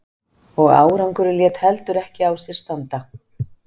Og árangurinn lét heldur ekki á sér standa.